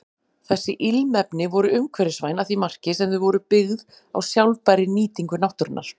Þessi ilmefni voru umhverfisvæn að því marki sem þau voru byggð á sjálfbærri nýtingu náttúrunnar.